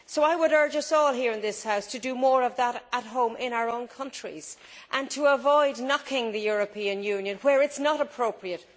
So I would urge us all here in this House to do more of that at home in our own countries and to avoid knocking the European Union where it is not appropriate.